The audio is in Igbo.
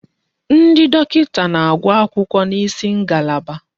Ndi dọkịta na-agụ akwụkwọ n'isi ngalaba.